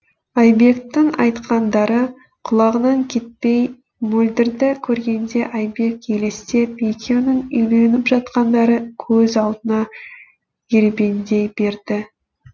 айбектің айтқандары құлағынан кетпей мөлдірді көргенде айбек елестеп екеуінің үйленіп жатқандары көз алдына ербеңдей берді